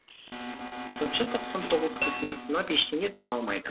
сыншы тоқсан тоғыз кісіні сынап ештеңе таба алмайды